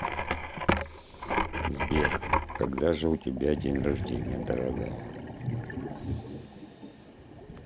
сбер когда же у тебя день рождения дорогая